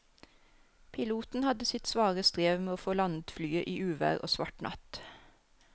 Piloten hadde sitt svare strev med å få landet flyet i uvær og svart natt.